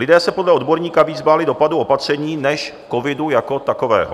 Lidé se podle odborníka více báli dopadu opatření než covidu jako takového.